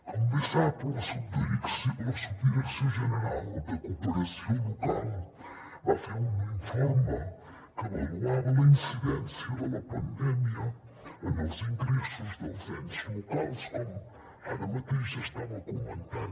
com bé sap la subdirecció general de cooperació local va fer un informe que avaluava la incidència de la pandèmia en els ingressos dels ens locals com ara mateix estava comentant